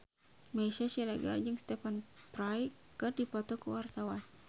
Meisya Siregar jeung Stephen Fry keur dipoto ku wartawan